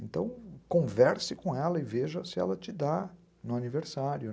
Então, converse com ela e veja se ela te dá no aniversário.